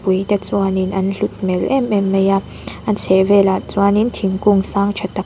ui te chuan in an hlut hmel em em mai a a chheh velah chuan in thingkung sang tha tak--